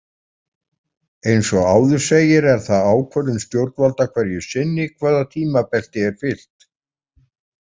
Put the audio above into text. Eins og áður segir er það ákvörðun stjórnvalda hverju sinni hvaða tímabelti er fylgt.